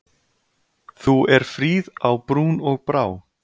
Þú er fríð á brún og brá.